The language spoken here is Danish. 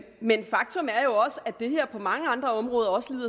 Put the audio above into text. men faktum er jo også at det her på mange andre områder også